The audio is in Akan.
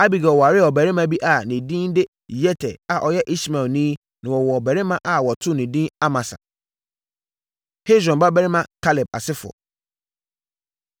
Abigail waree ɔbarima bi a ne din de Yeter a ɔyɛ Ismaelni na wɔwoo ɔbabarima a wɔtoo no edin Amasa. Hesron Babarima Kaleb Asefoɔ